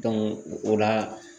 o la